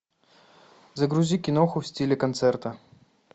загрузи киноху в стиле концерта